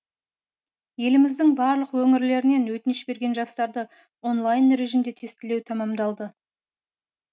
еліміздің барлық өңірлерінен өтініш берген жастарды онлайн режимде тестілеу тәмамдалды